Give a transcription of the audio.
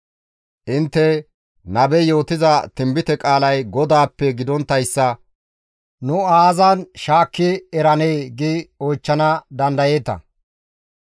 Intte, «Nabey yootiza tinbite qaalay GODAAPPE gidonttayssa ta aazan shaakka eranee?» gi oychchana dandayeeta.